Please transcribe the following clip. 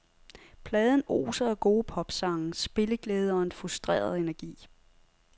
Pladen oser af gode popsange, spilleglæde og en frustreret energi.